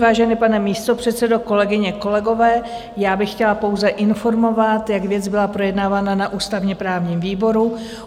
Vážený pane místopředsedo, kolegyně, kolegové, já bych chtěla pouze informovat, jak věc byla projednávána na ústavně-právním výboru.